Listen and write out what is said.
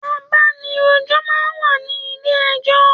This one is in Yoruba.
Àbánirójò má n wá ni ilé èjò